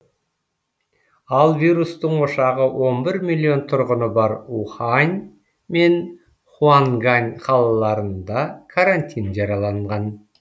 ал вирустың ошағы он бір миллион тұрғыны бар ухань мен хуангань қалаларында карантин жарәланған